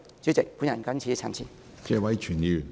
主席，我謹此陳辭。